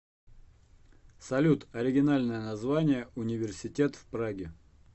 салют оригинальное название университет в праге